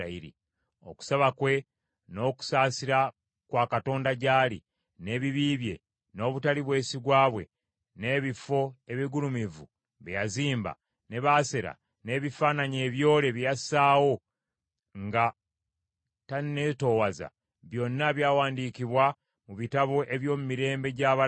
Okusaba kwe, n’okusaasira kwa Katonda gy’ali, n’ebibi bye, n’obutali bwesigwa bwe, n’ebifo ebigulumivu bye yazimba, ne Baasera, n’ebifaananyi ebyole bye yassaawo nga taneetoowaza, byonna byawandiikibwa mu bitabo eby’omu mirembe gy’abalabi.